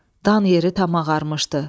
Dam yeri tamam ağarmışdı.